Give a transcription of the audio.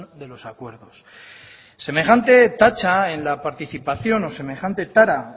de los acuerdos semejante tacha en la participación o semejante tara